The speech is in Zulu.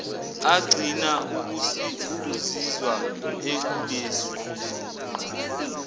agcina ukuzizwa ekulesi